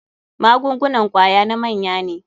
Magungunan kwaya na manya ne.